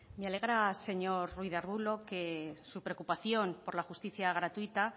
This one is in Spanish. me alegra señor ruiz de arbulo que su preocupación por la justicia gratuita